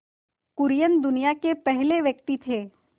कुरियन दुनिया के पहले व्यक्ति थे